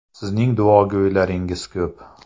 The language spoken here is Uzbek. Sizning duogo‘ylaringiz ko‘p.